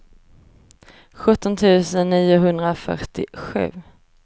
sjutton tusen niohundrafyrtiosju